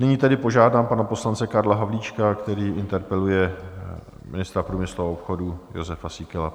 Nyní tedy požádám pana poslance Karla Havlíčka, který interpeluje ministra průmyslu a obchodu Josefa Síkelu.